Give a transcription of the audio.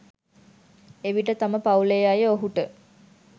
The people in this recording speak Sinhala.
එවිට තම පවුලේ අය ඔහුට